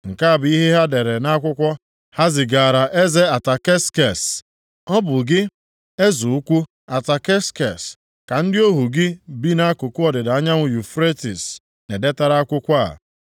Nke a bụ ihe ha dere nʼakwụkwọ ha zigaara Eze Ataksekses. Ọ bụ gị, eze ukwu Ataksekses, ka ndị ohu gị bi nʼakụkụ ọdịda anyanwụ Yufretis na-edetara akwụkwọ a.